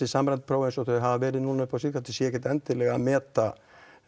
samræmd próf eins og þau hafa verið upp á síðkastið séu ekkert endilega að meta